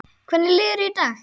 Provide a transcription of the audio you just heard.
Hvernig líður þér í dag?